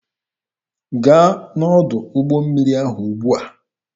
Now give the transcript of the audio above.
Gaa n'ọdụ ụgbọ mmiri ahụ ugbua!